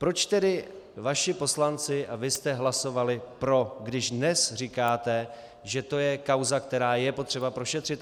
Proč tedy vaši poslanci a vy jste hlasovali pro, když dnes říkáte, že to je kauza, která je potřeba prošetřit?